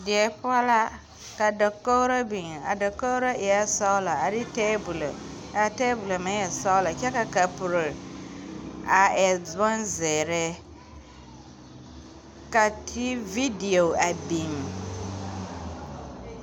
Die poɔ la ka dakogro biŋ a dakogro eɛɛ sɔglɔ a de tabolɔ kaa tabolɔ meŋ e sɔglɔ kyɛ ka kapuro a e bonzeere ka tee video a biŋ.